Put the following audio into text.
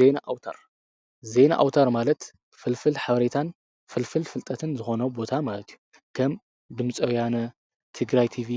ዜና ኣውተር፡- ዜና ኣውታር ማለት ፍልፍል ሓበሬታን ፍልፍል ፍልጠትን ዝኾኑ ቦታ ማለት እዩ ። ከም ድምፀውያነ ትግራይ ቲቪ